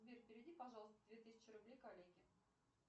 сбер переведи пожалуйста две тысячи рублей коллеге